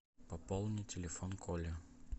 пополни телефон коле